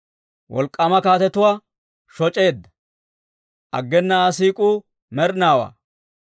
Wolk'k'aama kaatetuwaa shoc'eedda; aggena Aa siik'uu med'inaawaa.